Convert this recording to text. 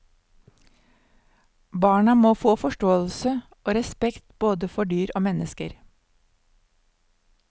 Barna må få forståelse og respekt både for dyr og mennesker.